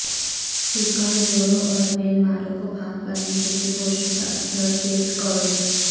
chicken جڑوں اور green مارو کو بھاپ کرنے کے لئے پوشیدہ ادرک بیٹھ کوری